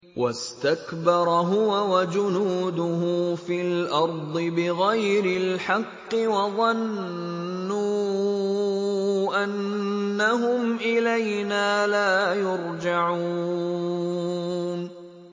وَاسْتَكْبَرَ هُوَ وَجُنُودُهُ فِي الْأَرْضِ بِغَيْرِ الْحَقِّ وَظَنُّوا أَنَّهُمْ إِلَيْنَا لَا يُرْجَعُونَ